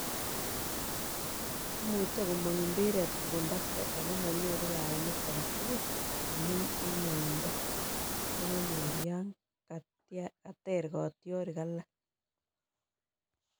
imuche komang' mpiret kobun batai ako manyoru kaimet aketukul amun en uindo nekanyor yan kater katyarik alak